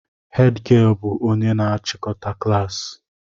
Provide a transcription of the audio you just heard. Hed gịel bụ onye na achikọta klaasị